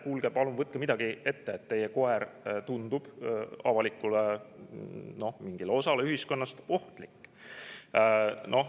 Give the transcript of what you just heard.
Kuulge, palun võtke midagi ette, teie koer tundub mingile osale ühiskonnast ohtlik.